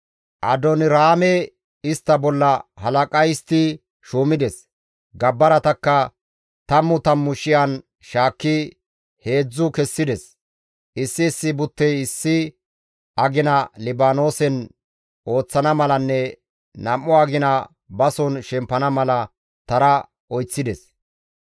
Adooniraame istta bolla halaqa histti shuumides. Gabbaratakka tammu tammu shiyan shaakki heedzdzu kessides; issi issi buttey issi agina Libaanoosen ooththana malanne nam7u agina bason bason shempana mala tara oyththides.